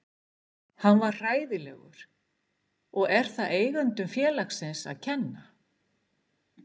Hann var hræðilegur og er það eigendum félagsins að kenna?